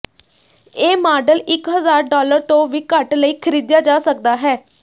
ਇਹ ਮਾਡਲ ਇੱਕ ਹਜ਼ਾਰ ਡਾਲਰ ਤੋਂ ਵੀ ਘੱਟ ਲਈ ਖਰੀਦਿਆ ਜਾ ਸਕਦਾ ਹੈ